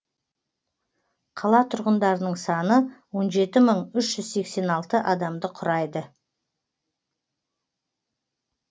қала тұрғындарының саны он жеті мың үш жүз сексен алты адамды құрайды